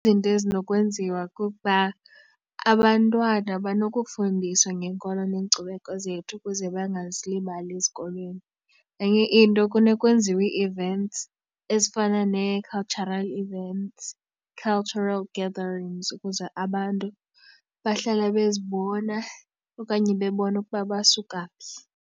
Izinto ezinokwenziwa kukuba abantwana banokufundiswa ngeenkolo neenkcubeko zethu ukuze bangazilibali ezikolweni. Enye into kuye kwenziwe ii-events ezifana nee-cultural events cultural gatherings ukuze abantu bahlale bezibona okanye bebona ukuba basuka phi.